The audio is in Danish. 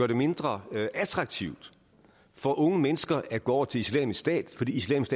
det mindre attraktivt for unge mennesker at gå over til islamisk stat fordi islamisk